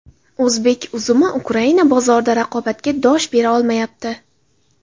O‘zbek uzumi Ukraina bozorida raqobatga dosh bera olmayapti.